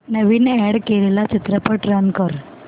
नवीन add केलेला चित्रपट run कर